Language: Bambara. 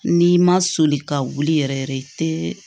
N'i ma soli ka wuli yɛrɛ yɛrɛ i tɛ